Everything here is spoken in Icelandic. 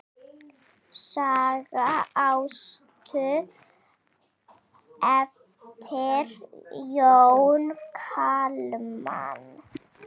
Saga Ástu eftir Jón Kalman.